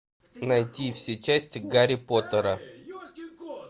найти все части гарри поттера